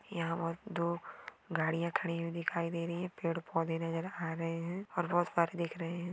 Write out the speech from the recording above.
यहाँ बहुत धुप गाडीया खडी दिखाई हुई दे रही है पेढ पौधे नजर आ रहे है और बहुत सारे देख रहे है।